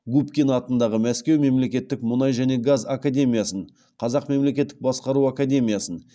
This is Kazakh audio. губкин атындағы мәскеу мемлекеттік мұнай және газ академиясын қазақ мемлекеттік басқару академиясын